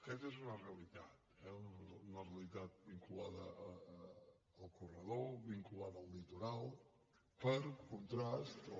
aquesta és una realitat eh una realitat vinculada al corredor vinculada al li·toral per contrast